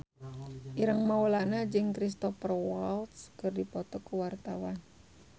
Ireng Maulana jeung Cristhoper Waltz keur dipoto ku wartawan